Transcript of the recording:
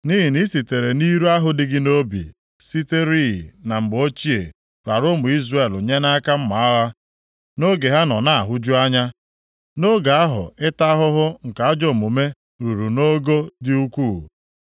“ ‘Nʼihi na i sitere nʼiro ahụ dị gị nʼobi siterịị na mgbe ochie rara ụmụ Izrel nye nʼaka mma agha, nʼoge ha nọ na-ahụju anya, nʼoge ahụ ịta ahụhụ nke ajọ omume ruru nʼogo dị ukwuu.